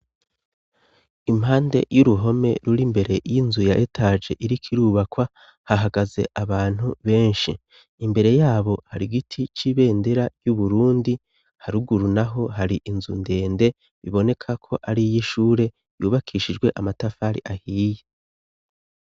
impande y'uruhome ruri mbere y'inzu ya etage iriko irubakwa hahagaze abantu benshi imbere yabo hari giti c'ibendera y'uburundi haruguru naho hari inzu ndende biboneka ko ari y' ishure yubakishijwe amatafari ahiye